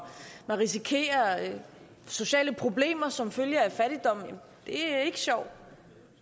at man risikerer sociale problemer som følge af fattigdom er ikke sjovt